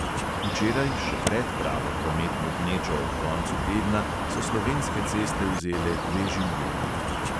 Včeraj, še pred pravo prometno gnečo ob koncu tedna, so slovenske ceste vzele dve življenji.